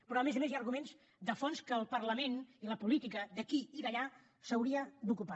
però a més a més hi ha arguments de fons de què el parlament i la política d’aquí i d’allà s’haurien d’ocupar